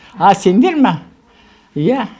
а сендер ме иә